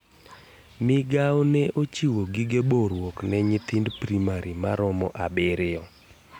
Migao ne ochiwo gige boruok ne nyithind Primari maromo abiriyo.